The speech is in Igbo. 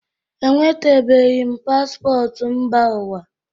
Enwetabeghi m paspọtụ mba ụwa